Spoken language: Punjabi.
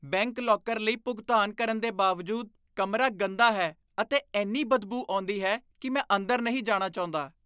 ਬੈਂਕ ਲੌਕਰ ਲਈ ਭੁਗਤਾਨ ਕਰਨ ਦੇ ਬਾਵਜੂਦ, ਕਮਰਾ ਗੰਦਾ ਹੈ ਅਤੇ ਇੰਨੀ ਬਦਬੂ ਆਉਂਦੀ ਹੈ ਕਿ ਮੈਂ ਅੰਦਰ ਨਹੀਂ ਜਾਣਾ ਚਾਹੁੰਦਾ।